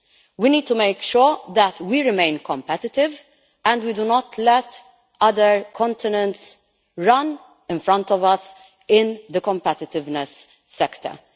We need to make sure that we remain competitive and we do not let other continents run in front of us in the competitiveness stakes.